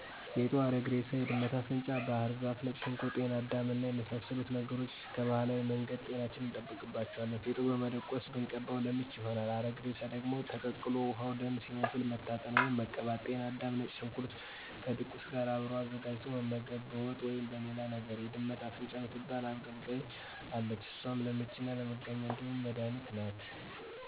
ፌጦ፣ አረግ እሬሳ፣ የድመት አፍንጫ ባህር ዛፍ፣ ነጭ ሽንኩርት፣ ጤና አዳም እና የመሳሰሉት ነገሮች ቀባህላዊ መንገድ ጤናችንን እንጠብቅባቸዋለን። ፌጦ በመደቆስ ብንቀባው ለምች ይሆናል። አረግ እሬሳ ደግሞ ተቀቅሎ ውሀው ደም ሲመስል መታጠን ወይም መቀባት።። ጤና አዳምና ነጭ ሽንኩርት ከድቁስ ጋር አብሮ አዘጋጅቶ መመገብ በወጥ ወይም በሌላ ነገር። የድመት አፍንጫ ምትባል አብቀላቅይ አለች እሷም ለምችና መጋኛ ጥሩ መድኃኒት ናት።